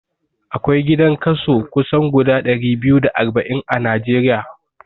Akwai gidan kaso kusan guda ɗari biyu da arba'in a Najeriya